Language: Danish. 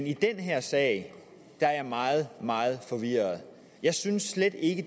i den her sag er jeg meget meget forvirret jeg synes slet ikke